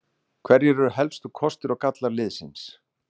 Hverjir eru helstu kostir og gallar liðsins?